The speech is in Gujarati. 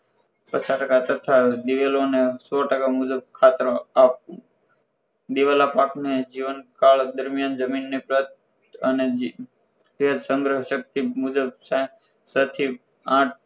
પચાસ ટકા તથા દિવેલોને સો ટકા મુજબ ખાતર આપવું દિવેલાપાકને જીવનકાળ દરમિયાન જમીનને અને તે સંગ્રહ શક્તિ મુજબ છ થી આઠ